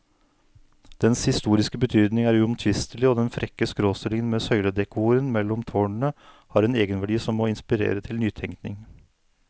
Dens historiske betydning er uomtvistelig, og den frekke skråstillingen med søyledekoren mellom tårnene har en egenverdi som må inspirere til nytenkning.